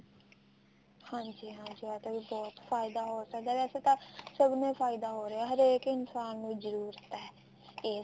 ਹਾਂਜੀ ਹਾਂਜੀ ਇਹਦਾ ਵੀ ਬਹੁਤ ਫਾਇਦਾ ਹੋ ਸਕਦਾ ਵੈਸੇ ਤਾਂ ਸਭ ਨੂੰ ਹੀ ਫਾਇਦਾ ਹੋ ਰਿਹਾ ਹਰੇਕ ਇਨਸਾਨ ਨੂੰ ਹੀ ਜਰੂਰਤ ਹੈ ਇਸ